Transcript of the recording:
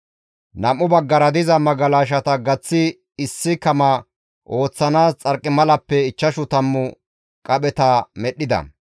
Nam7u baggara diza magalashata gaththi issi kama ooththanaas xarqimalappe ichchashu tammu qapheta medhdhida.